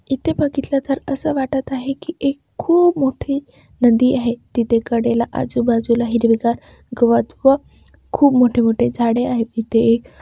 इथे बघितले तर असे वाटत आहे की एक खूप मोठी नदी आहे तिथे कडेला आजू-बाजूला हिरवे गार गवत व खूप मोठे-मोठे झाडे आहे इथे एक--